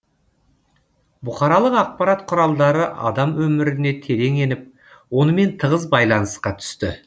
бұқаралық ақпарат құралдары адам өміріне терең еніп онымен тығыз байланысқа түсті